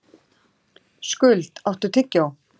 Skuld, áttu tyggjó?